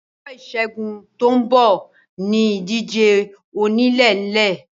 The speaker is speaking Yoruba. Ọjọ́ ìsẹ́gun tó ń bọ̀ ní ìdíje onílé ń nílé